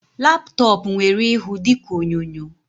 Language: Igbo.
Laptop nwere ịhụ dịka onyonyo